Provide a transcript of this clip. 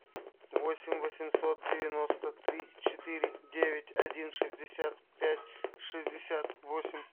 восемь восемьсот девяносто три четыре девять один шестьдесят пять шестьдесят восемь